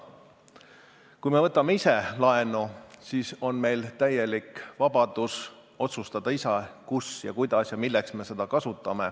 Kui me võtame ise laenu, siis on meil täielik vabadus ise otsustada, kus, kuidas ja milleks me seda kasutame.